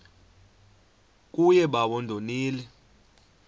kuye bawo ndonile